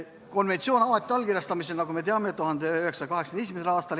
Konventsioon avati allkirjastamiseks, nagu me teame, 1981. aastal.